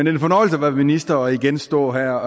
er en fornøjelse at være minister og igen stå her